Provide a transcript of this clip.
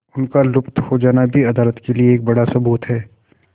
उनका लुप्त हो जाना भी अदालत के लिए एक बड़ा सबूत है